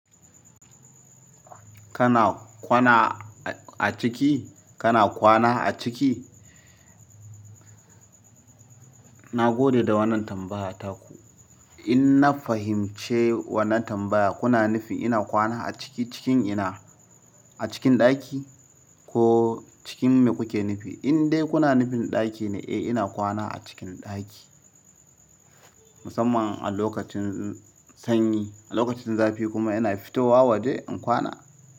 Kana kwana a ciki? Kana kwana a ciki? Na gode da wannan tambaya ta ku. In na fahimci wannan tambaya, kuna nufin ina kwana a ciki cikin ina? A cikin ɗaki ko cikin me kuke nufi? In dai kuna nufin ɗaki ne, eh ina kwana a cikin ɗaki. Musamman a lokacin sanyi. A lokacin zafi kuma ina fito wa je in kwana.